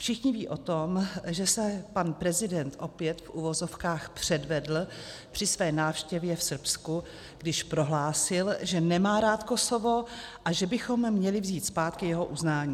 Všichni vědí o tom, že se pan prezident opět, v uvozovkách, předvedl při své návštěvě v Srbsku, když prohlásil, že nemá rád Kosovo a že bychom měli vzít zpátky jeho uznání.